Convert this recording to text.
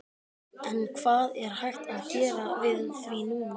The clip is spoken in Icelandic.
En hvað er hægt að gera við því núna?